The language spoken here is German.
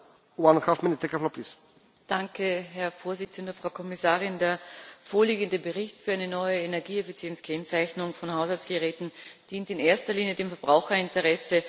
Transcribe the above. Herr Präsident, Frau Kommissarin! Der vorliegende Bericht für eine neue Energieeffizienzkennzeichnung von Haushaltsgeräten dient in erster Linie dem Verbraucherinteresse.